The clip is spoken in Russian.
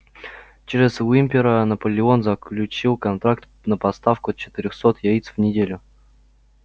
через уимпера наполеон заключил контракт на поставку четырёхсот яиц в неделю